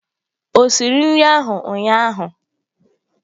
O siri nri ahụ ụnyahụ?